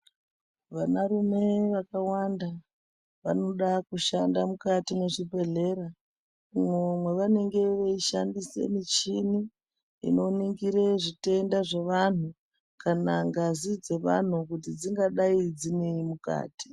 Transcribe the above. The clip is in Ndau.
Vanarume vakawanda vanoda kushanda mukati mwezvibhedhlera. Umwo mwavanenge veishandisa michini inoningire zvitenda zvevantu kana ngazi dzevantu kuti dzingadai dzinei mukati.